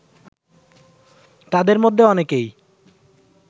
তাদের মধ্যে অনেকেই